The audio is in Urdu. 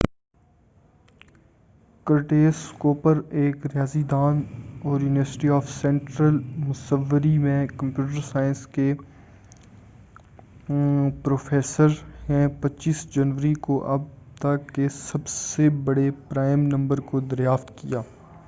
کرٹیس کوپر جو ایک ریاضی داں اور یونیورسٹی آف سنٹرل مسوری میں کمپیوٹر سائنس کے پرہفیسر ہیں 25 جنوری کو اب تک کے سب سے بڑے پرائم نمبر کو دریافت کیا